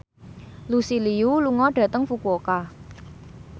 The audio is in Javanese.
Lucy Liu lunga dhateng Fukuoka